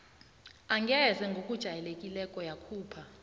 angeze ngokujayelekileko yakhupha